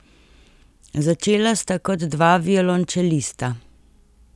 Začela sta kot dva violončelista.